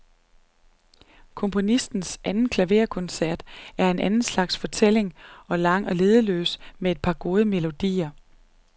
Komponistens anden klaverkoncert er en anden slags fortælling, lang og leddeløs med et par gode melodier.